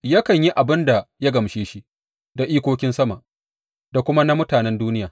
Yakan yi abin da ya gamshe shi da ikokin sama da kuma na mutanen duniya.